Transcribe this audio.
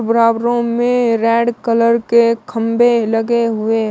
बराबरों में red colour के खंभे लगे हुए हैं।